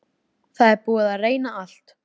Það er búið að reyna allt.